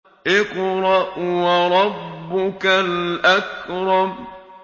اقْرَأْ وَرَبُّكَ الْأَكْرَمُ